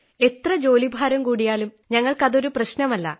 എത്ര ജോലിഭാരം കൂടിയാലും ഞങ്ങൾക്കതൊരു പ്രശ്നമല്ല